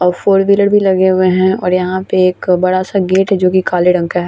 और four wheeler भी लगे हुए है और यहाँ पे एक बड़ा-सा गेट जो की काले रंग का है।